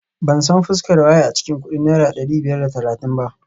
Ban san fuskar waye a cikin kudin naira dari biyar da talatin ba